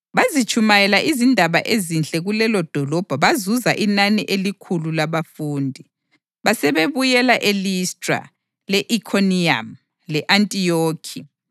Bazitshumayela izindaba ezinhle kulelodolobho bazuza inani elikhulu labafundi. Basebebuyela eListra, le-Ikhoniyamu le-Antiyokhi